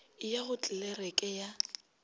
e ya go tlelereke ya